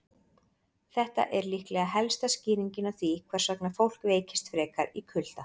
Þetta er líklega helsta skýringin á því hvers vegna fólk veikist frekar í kulda.